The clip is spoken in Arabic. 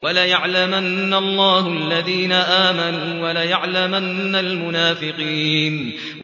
وَلَيَعْلَمَنَّ اللَّهُ الَّذِينَ آمَنُوا وَلَيَعْلَمَنَّ الْمُنَافِقِينَ